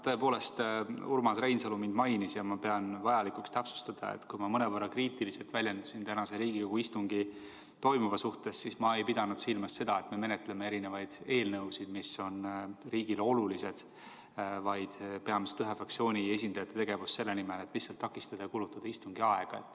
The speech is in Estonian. Tõepoolest Urmas Reinsalu mind mainis ja ma pean vajalikuks täpsustada, et kui ma mõnevõrra kriitiliselt väljendusin tänasel Riigikogu istungil toimuva suhtes, siis ma ei pidanud silmas seda, et me menetleme erinevaid eelnõusid, mis on riigile olulised, vaid peamiselt ühe fraktsiooni esindajate tegevust selle nimel, et lihtsalt takistada ja kulutada istungi aega.